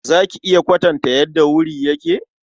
Za ki iya kwatanta yadda wuri yake?